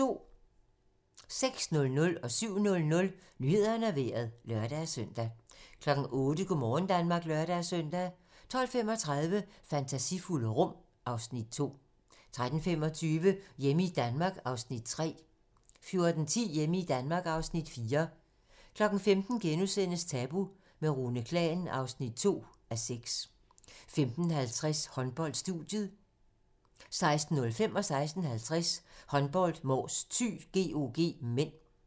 06:00: Nyhederne og Vejret (lør-søn) 07:00: Nyhederne og Vejret (lør-søn) 08:00: Go' morgen Danmark (lør-søn) 12:35: Fantasifulde rum (Afs. 2) 13:25: Hjemme i Danmark (Afs. 3) 14:10: Hjemme i Danmark (Afs. 4) 15:00: Tabu - med Rune Klan (2:6)* 15:50: Håndbold: Studiet 16:05: Håndbold: Mors-Thy - GOG (m) 16:50: Håndbold: Mors-Thy - GOG (m)